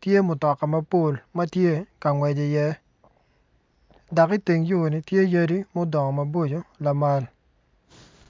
tye mutoka mapol matye ka ngwec i ye dok i teng yoni tye yadi ma odongo maboco lamal.